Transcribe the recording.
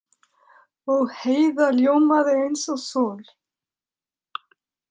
Og Heiða ljómaði eins og sól.